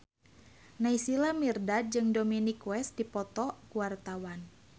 Naysila Mirdad jeung Dominic West keur dipoto ku wartawan